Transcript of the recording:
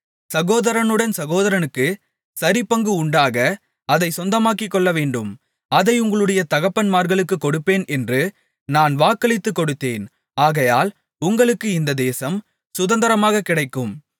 சகோதரனுடன் சகோதரனுக்குச் சரிபங்கு உண்டாக அதைச் சொந்தமாக்கிக்கொள்ளவேண்டும் அதை உங்களுடைய தகப்பன்மார்களுக்குக் கொடுப்பேன் என்று நான் வாக்களித்துக் கொடுத்தேன் ஆகையால் உங்களுக்கு இந்த தேசம் சுதந்தரமாகக் கிடைக்கும்